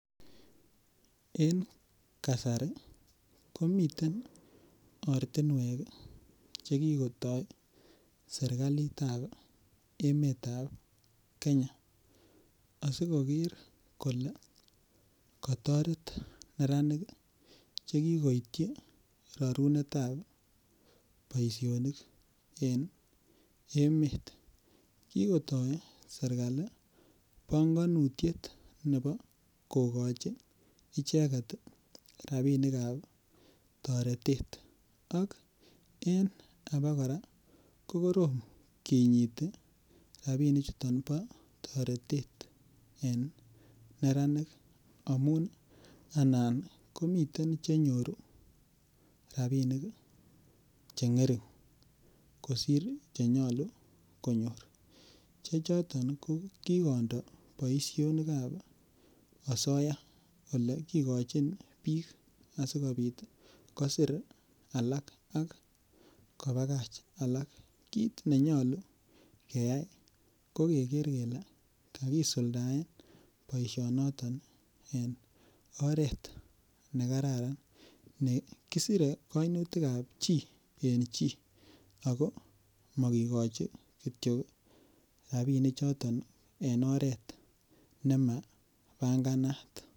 En kasari komiten ortinuek chekikota emetab Kenya asimoker kole katoret neranik chekikoityi rarunetab boisionik en emeet. Kikotaa serkali panganutiet kokoi icheket rabisiekab toretet. Ak en abokora ko korom kinyite kinyite rabinik chuton bo toretet en neranik amuun anan komiten chenyoru cheng'ering. Kosir chenyalu konyor. Che choton kokikondo boisionikkab asoya ole kikochin bik asikobit kosir alak akobagach alak kit nenyalu keyai ko keker kele kaisuldaen boisiet noton ih en oret nemabanganat.